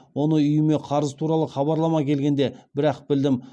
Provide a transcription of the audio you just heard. оны үйіме қарыз туралы хабарлама келгенде бір ақ білдім